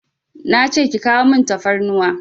Nace ki kawo min tafarnuwa